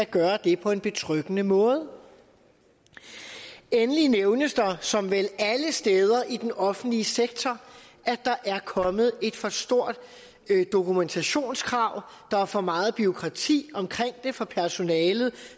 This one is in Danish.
gøre det på en betryggende måde endelig nævnes der at som vel alle steder i den offentlige sektor er kommet et for stort dokumentationskrav at der er for meget bureaukrati omkring det for personalet